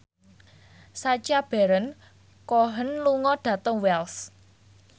Sacha Baron Cohen lunga dhateng Wells